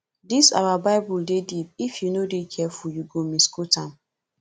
dis our bible dey deep if you no dey careful you go misquote am